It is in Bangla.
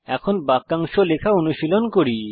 এখন বাক্যাংশ লেখা অনুশীলন করি